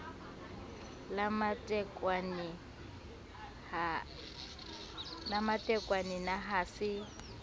la matekwane na ha se